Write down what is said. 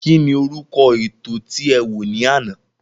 Kín ni orúkọ ètò tí e wò ní àná?